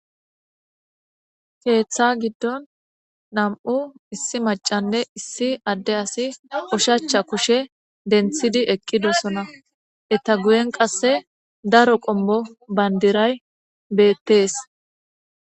Keeththa giddon nam'u issi macanne issi adde asi ushshachcha kushshe denthidi eqqidosona eetta guyen qasse daro qoommo bandiray beettees